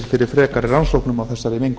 fyrir frekari rannsóknum á þessari mengun